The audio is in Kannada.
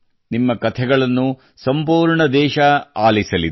ನಿಮ್ಮ ಕಥೆಗಳನ್ನು ಸಂಪೂರ್ಣ ದೇಶ ಆಲಿಸಲಿದೆ